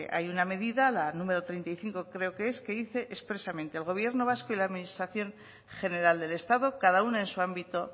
hay una medida la número treinta y cinco creo que es que dice expresamente el gobierno vasco y la administración general del estado cada una en su ámbito